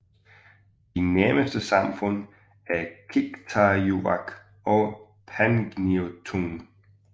De nærmeste samfund er Qikqtarjuaq og Pangnirtung